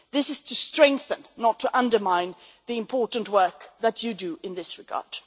This is to strengthen, not to undermine, the important work that you do in this regard.